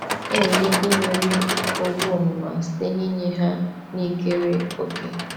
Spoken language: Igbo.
Enwere ike imeri owu ọmụma site n'inye ihe na ikere òkè.